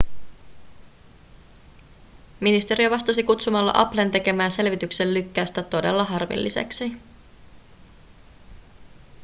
ministeriö vastasi kutsumalla applen tekemää selvityksen lykkäystä todella harmilliseksi